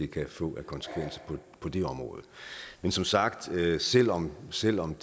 kan få af konsekvenser på det område men som sagt selv om selv om